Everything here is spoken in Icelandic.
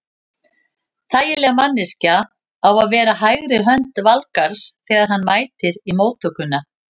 Þægileg manneskja á að vera hægri hönd Valgarðs þegar hann mætir í móttökuna.